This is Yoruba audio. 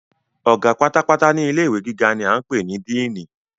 Ọ̀gá pátápátá ní ilé ìwé gíga ni a ń pè ní "Diínì".